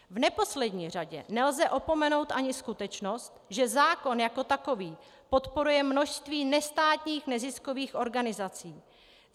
V neposlední řadě nelze opomenout ani skutečnost, že zákon jako takový podporuje množství nestátních neziskových organizací.